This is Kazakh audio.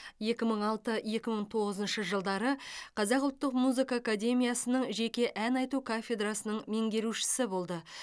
екі мың алты екі мың тоғызыншы жылдары қазақ ұлттық музыка академиясының жеке ән айту кафедрасының меңгерушісі болды